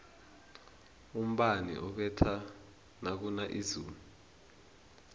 umbani ubetha nakuna izulu